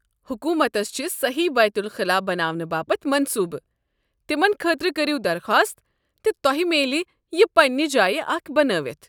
حکوٗمتس چھِ سٔہی بیتُل خُلا بناونہٕ باپتھ منصوٗبہٕ، تمن خٲطرٕ کٔرو درخواست تہٕ تۄہہ میلہِ یہِ پنٛنہ جایہ اکھ بنٲوِتھ۔